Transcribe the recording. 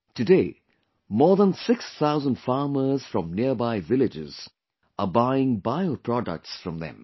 Today, more than 6 thousand farmers from nearby villages are buying bio products from them